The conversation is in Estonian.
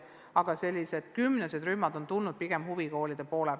Ettepanek sellised kümnesed rühmad teha on tulnud pigem huvikoolidelt.